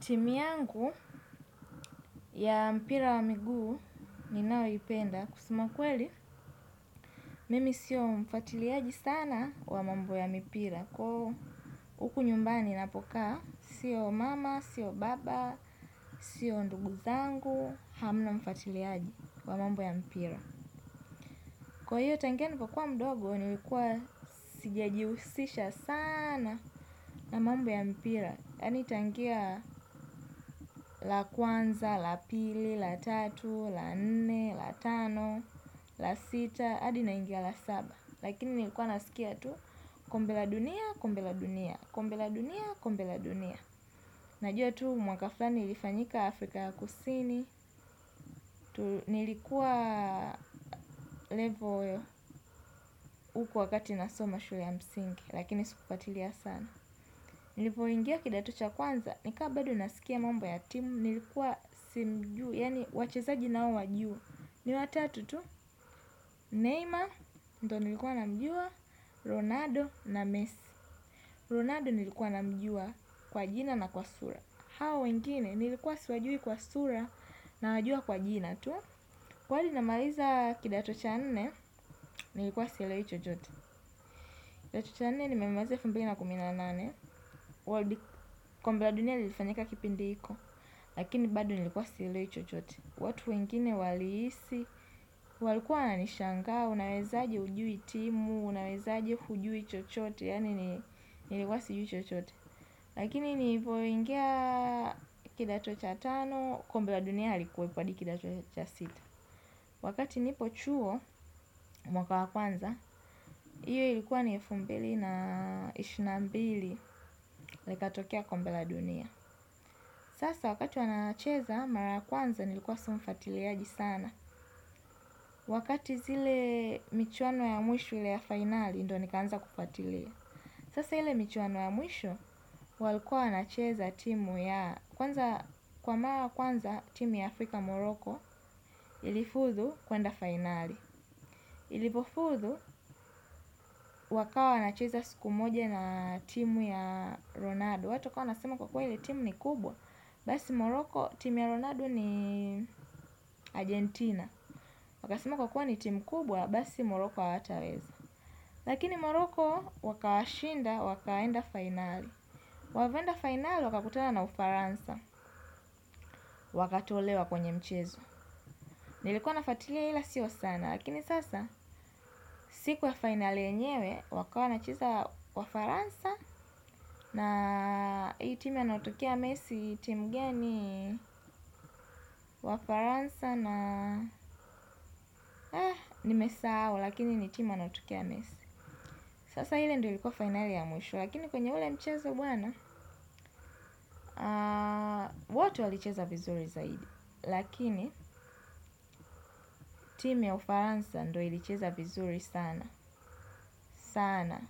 Timu yangu ya mpira wa miguu ninaoipenda kusema kweli. Mimi sio mfatiliaji sana wa mambo ya mipira. Kwa huku nyumbani napoka, sio mama, sio baba, sio nduguzangu, hamna mfuatiliaji wa mambo ya mpira. Kwa hiyo tangia nilipokua mdogo ni likua sijajihusisha sana na mambo ya mpira. Yani tangia la kwanza, la pili, la tatu, la nne, la tano, la sita, adi naingia la saba. Lakini nilikuwa nasikia tu, kombe la dunia, kombe la dunia, kombe la dunia, kombe la dunia. Najua tu mwaka fulani ilifanyika Afrika ya kusini, nilikuwa level uku wakati nasoma shule ya msingi, lakini sikufwatilia sana. Nilipo ingia kidato cha kwanza nikawa bado nakawa nasikia mambo ya timu nilikuwa simjui yani wachezaji naowajua. Ni watatu tu, Neymar, nito nilikuwa na mjua, Ronaldo na Messi Ronaldo nilikuwa na mjua kwa jina na kwa sura. Hawa wengine, nilikuwa siwajui kwa sura nawajua kwa jina tu kwani namaliza kidato cha nne, nilikuwa sielewi chochote kidato cha nne nimemaliza elfu mbili na kumi na nane, kombe la dunia lilifanyika kipindi hiko, lakini bado nilikuwa sielewi chochote. Watu wengine walihisi, walikuwa wana nishangaa, unaweza aje hujui timu, unaweza aje hujui chochote, yani nilikuwa sijui chochote. Lakini nilipoingia kidato cha tano, kombe la dunia halikuwepo adi kidato cha sita. Wakati nipo chuo mwaka wa kwanza, iyo ilikuwa ni elfu mbili na ishirini na mbili likatokia kombe la dunia. Sasa wakati wanacheza mara kwanza nilikuwa si mfuatiliaji sana. Wakati zile mchuano ya mwisho ile ya finali ndo nikaanza kufuatilia. Sasa ile mchuano ya mwisho walikuwa wanacheza timu ya kwanza kwa mara kwanza timu ya Afrika Moroko ilifuzu kwenda finali. Ilipofudhu wakawa wana cheza siku moja na timu ya Ronaldo. Watu wakawa wanasema kwa kweli timu ni kubwa. Basi Moroko timu ya Ronaldo ni Argentina. Wakasema kwa kuwa ni timu kubwa basi Moroko hawataweza. Lakini Moroko waka washinda wakaenda finali. Walivyoenda finali wakakutana na ufaransa wakatolewa kwenye mchezo. Nilikuwa nafwatilia ila sio sana. Lakini sasa siku ya finali yenyewe wakawa wanacheza wafaransa. Na hii timu anayotokea Messi timu gani. Wafaransa na nimesahau lakini ni timu anayotokea Messi. Sasa ile ndo ilikuwa finali ya mwisho lakini kwenye ule mchezo bwana. Wote walicheza vizuri zaidi lakini timu ya Ufaransa ndo ilicheza vizuri sana sana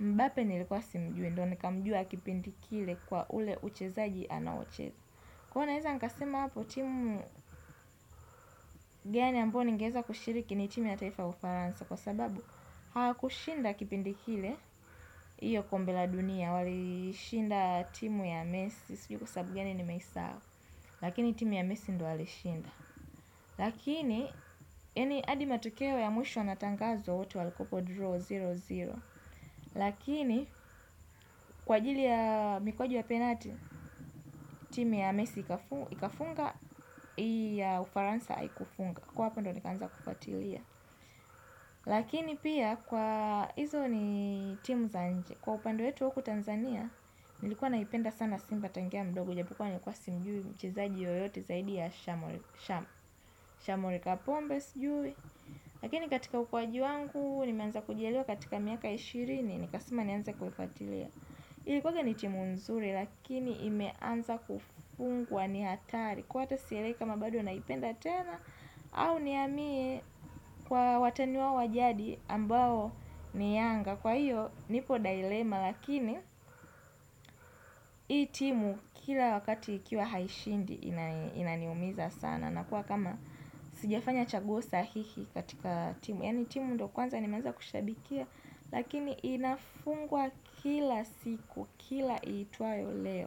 Mbape nilikuwa simjui ndo nikamjua kipindi kile kwa ule uchezaji anaocheza. Kuwa naeaza nikasema hapo timu gani ambayo ningeweza kushiriki ni timu ya taifa ya ufaransa kwa sababu hawa kushinda kipindi kile iyo kombela dunia wali shinda timu ya Messi sijui kwa sababu gani nimeisahau lakini timu ya Messi ndio walishinda lakini yani adi matokeo ya mwisho yana tangazwa wote walikuwapo draw sifuri sifuri lakini kwa ajili ya mikwaji ya penalti timu ya Messi ikafunga ya Ufaransa haikufunga kwa hapo ndo nikanza kufuatilia. Lakini pia kwa hizo ni timu za nje. Kwa upande wetu huku Tanzania. Nilikuwa naipenda sana simba tangia mdogo. Japo kuwa nilikuwa simjui mchizaji yoyote zaidi ya shamuel kapombe sujui. Lakini katika ukuaji wangu nimeanza kujielewa katika miaka ya ishirini. Nikasema nianze kufuatilia. Ilikuwaga ni timu nzuri lakini imeanza kufungwa ni hatari. Kwa hata silewi kama bado naipenda tena au nihamie kwa wataniwa wao jadi ambao ni yanga kwa hiyo nipo dilema lakini hii timu kila wakati ikiwa haishindi inaniumiza sana na kuwa kama sijafanya chaguo sahihi katika timu yani timu ndo kwanza nimenza kushabikia lakini inafungwa kila siku kila iitwayo leo.